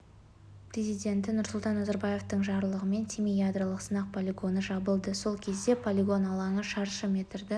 президенті нұрсұлтан назарбаевтың жарлығымен семей ядролық сынақ полигоны жабылды сол кезде полигон алаңы шаршы метрді